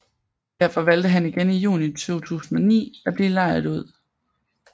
Derfor valgte han igen i Juni 2009 at blive lejet ud